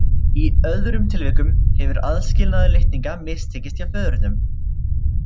Í öðrum tilvikum hefur aðskilnaður litninga mistekist hjá föðurnum.